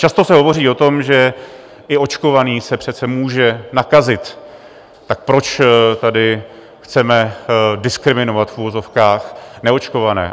Často se hovoří o tom, že i očkovaný se přece může nakazit, tak proč tady chceme diskriminovat v uvozovkách neočkované.